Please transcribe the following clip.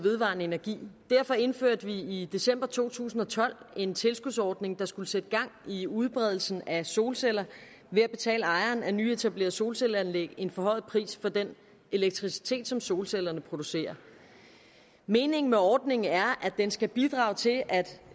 vedvarende energi og derfor indførte vi i december to tusind og tolv en tilskudsordning der skulle sætte gang i udbredelsen af solceller ved at betale ejeren af nyetablerede solcelleanlæg en forhøjet pris for den elektricitet som solcellerne producerer meningen med ordningen er at den skal bidrage til at